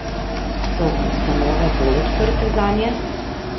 So ustanove bolj odprte zanje?